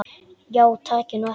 Já takið nú eftir.